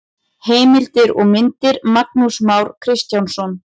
Heimildir og myndir: Magnús Már Kristjánsson.